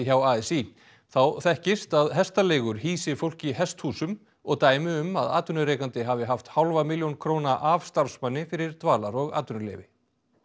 hjá a s í þá þekkist að hestaleigur hýsi fólk í hesthúsum og dæmi um að atvinnurekandi hafi haft hálfa milljón króna af starfsmanni fyrir dvalar og atvinnuleyfi